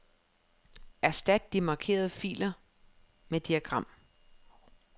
Erstat de markerede felter med diagram.